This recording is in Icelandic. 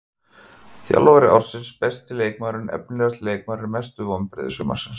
Þjálfari ársins Besti leikmaðurinn Efnilegasti leikmaðurinn Mestu vonbrigði sumarsins?